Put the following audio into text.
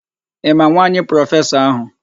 Ị ma nwaanyị prọfesọ áhụ̀?